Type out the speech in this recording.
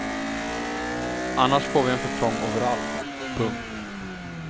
Annars får vi en för trång overall. punkt